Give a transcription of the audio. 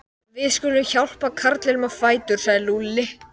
Við skulum hjálpa karlinum á fætur sagði Lúlli.